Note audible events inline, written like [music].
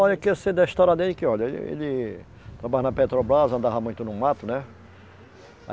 Olha, o que eu sei da história dele que, olha, ele trabalha na Petrobras, andava muito no mato, né? [unintelligible]